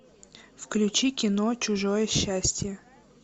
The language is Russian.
включи кино чужое счастье